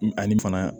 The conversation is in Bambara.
Ani fana